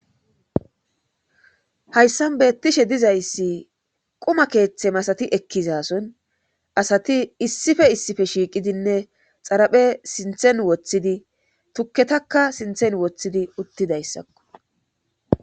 hayssan beettishe dizayssi quma keeththe masati ekkizason asati issife issife shiiqidinne xaraphe sinthen woththidi tukketakka sinthen woththidi uttidayssakko